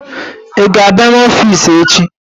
i ga-abia n'ofici echi?